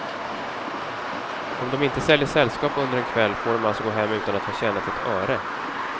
Om de inte säljer sällskap under en kväll får de alltså gå hem utan att ha tjänat ett öre.